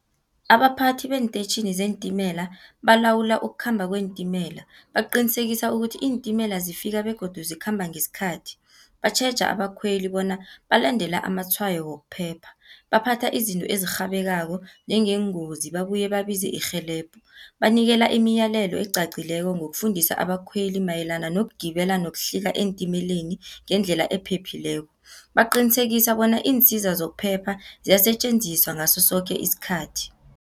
Abaphathi beentetjhini zeentimela, balawula ukukhamba kweentimela, baqinisekise ukuthi iintimela zifika begodu zikhamba ngesikhathi. Batjheja abakhweli bona balandela amatshwayo wokuphepha. Baphatha izinto ezirhabekako njengengozi, babuye babize irhelebho. Banikela imiyalelo eqaqileko, ngokufundisa abakhweli mayelana nokugibela, nokuhlika eentimeleni ngendlela ephephileko. Baqinisekisa bona iinsiza zokuphepha, ziyasetjenziswa ngasosoke isikhathi.